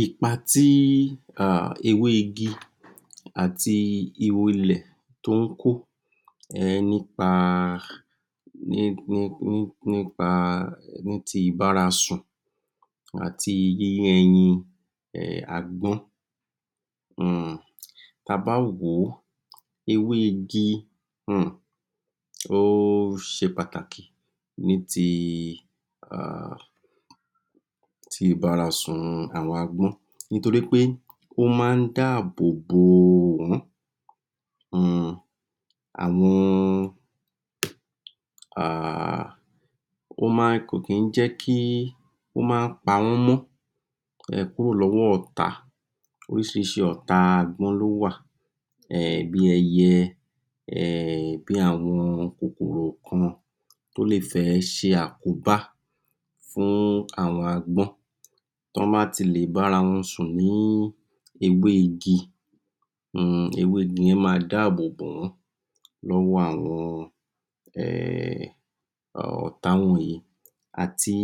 Ipa tí um ewé igi àti ihò ilẹ̀ tó ń kó um nípa ní ní ní nípa níti ibárasùn àti yíyé ẹyin um agbọ́n um ta bá wòó ewé igi um o ṣe pàtàkì ní ti um ti ìbárasùn àwọn agbọ́n nítorípé ó máa ń dá àbòbò wọ́n um àwọn um ó máa ń, kò kí ń jẹ́ kí ó máa ń pawọ́n mọ́ um kúrò lọ́wọ́ ọ̀tá oríṣiríṣi ọ̀tá agbọ́n ló wà um bí ẹyẹ um bí àwọn kòkòrò kan tó lè fẹ́ ṣe àkóbá fún àwọn agbọ́n tí wọ́n bá ti lè bára wọn sùn ní ewé igi um ewé igi yẹn máa dábòbò wọ́n lọ́wọ́ àwọn um àwọn ọ̀tá wọ̀nyẹn àti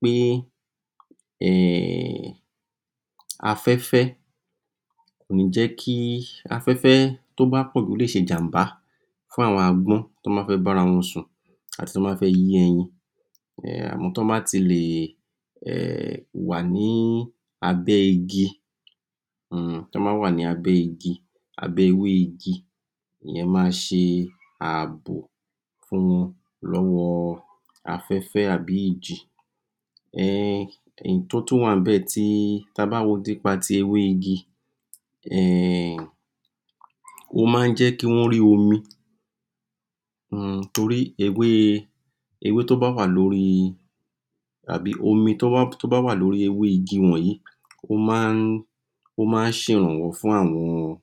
pé um afẹ́fẹ́ kò ní jẹ́ kí, afẹ́fẹ́ tí ó bá pọ̀jù, ó lè ṣe ìjàmbá fún àwọn agbọ́n tí ó ba fẹ́ barawọn sùn àti tí wọ́n bá fẹ́ yé ẹyin um tọ́bá ti lè um wà ní abẹ́ igi um tí wọ́n bà ní abẹ́ igi, abẹ́ ewé igi ìyẹn ma ṣe àbò um lọ́wọ́ afẹ́fẹ́ tàbí ìjì um èyítí ó tún wà níbẹ̀ tí, tí a bá wo nípa ti ewé igi um ó máa ń jẹ́ kí wọ́n rí omi um torí ewé ewé tí ó bá wà lórí tàbí omi tí ó bá wá lórí ewé igi wọnyìí ó máa ń ó máa ń ṣe ìrànwọ́ fún àwọn um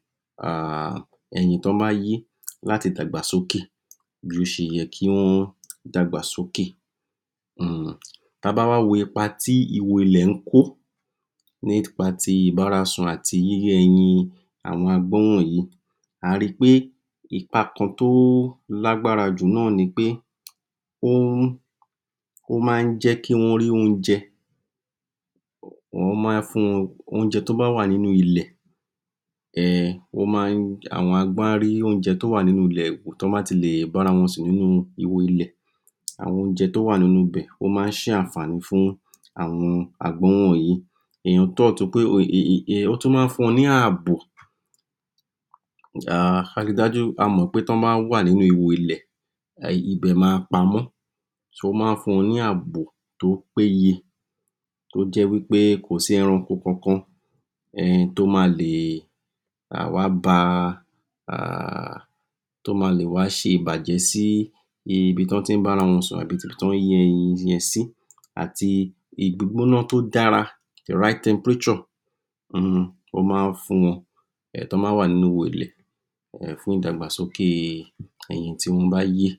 ẹyin tí wọ́n bá yé láti dàgbà sókè bí ó ṣe yẹ kí wọ́n dàgbà sókè tí a bá wá wo ipa tí ihò ilẹ̀ ń kó nípa ti ìbárasun àti yíyé ẹyin àwọn agbọ́n wọnyìí ari pé ipa kan tí ó lágbára jù náà ni pé ó ń ó máa ń jẹ́ kí wọ́n rí oúnjẹ wọ́n máa ń fun wọn oúnjẹ tí ó bá wà nínú ilẹ̀ um ó máa ń, àwọn agbọ́n á rí oúnjẹ tí ó wà nínú ilẹ̀ tí wọ́n bá ti lè bárawọn sùn nínu ihò ilẹ̀ àwọn oúnjẹ tí ó wà nínú ibẹ̀, ó máa ń ṣe ànfààní fún àwọn agbọ́n wọnyìí ó tún máa ń fún wọn ní àbò um a ri dájú, a mọ̀ pé tí wọ́n bá wà nínú ibò ilẹ̀ ibẹ̀ máa pamọ́ ó máa ń fún wọn ní àbò tí ó péye tó jẹ́ wí pé kò sí ẹranko kan kan um to má lè um wá ba um tó ma lè wá ṣe ìbàjẹ́ sí ibi tí wọ́n tí ń bárawọn sùn àbí ibi tí wọ́n yé ẹyin yẹn sí àti ìgbígbóná tó dára [right temperature] um ó máa ń fún wọn tí wọ́n bá wà nínú ihò ilẹ̀ fún ìdàgbàsókè ẹyin tí wọ́n bá yé.